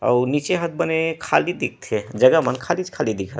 अउ नीचे ह त बने खाली दिखथे जगह मन खाली दिखथे।